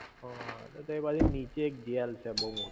હઅ તઈ બાજુ ની નીચે એક જેલ છે બોવ મોટી